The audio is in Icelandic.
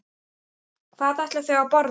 Hvað ætla þau að borða?